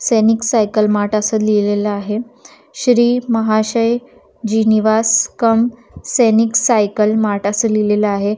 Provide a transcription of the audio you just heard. सैनिक cycle mart असं लिहिलेल आहे श्री महाशय जी निवास कम सैनिक सायकल मार्ट असं लिहिलेल आहे.